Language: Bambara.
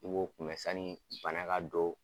I b'o kunbɛ sanni bana ka don